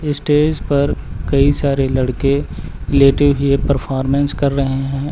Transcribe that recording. Stage पर कई सारे लड़के लेटे हुए परफॉर्मेंस कर रहे हैं।